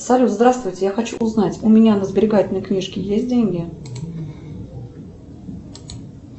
салют здравствуйте я хочу узнать у меня на сберегательной книжке есть деньги